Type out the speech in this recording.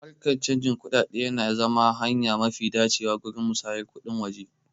Harkan canjin kuɗaɗe na iya zama hanya mafi dacewa gurin musayar kuɗin waje.